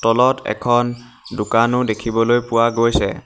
তলত এখন দোকানো দেখিবলৈ পোৱা গৈছে।